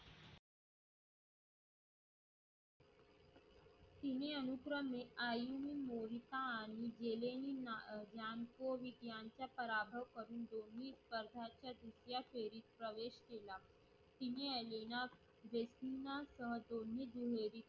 तिने अनुक्रमे आयु मोहिता आणि व्हेलेन रांमप्रोहित यांचा पराभव करून, दोन्ही स्पर्धाच्या दुसऱ्या फेरीत प्रवेश केला. तिने एलिना वेशीना शी दोन्ही